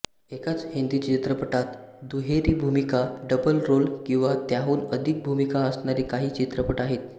एकाच हिंदी चित्रपटात दुहेरी भूमिका डबल रोल किंवा त्याहून अधिक भूमिका असणारे काही चित्रपट आहेत